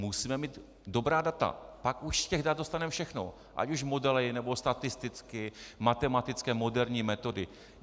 Musíme mít dobrá data, pak už z těch dat dostaneme všechno, ať už modely, nebo statisticky, matematické moderní metody.